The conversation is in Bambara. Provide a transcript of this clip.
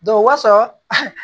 o wasaa